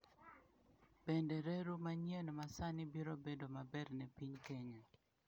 Bende reru manyien ma sani biro bedo maber ne piny Kenya?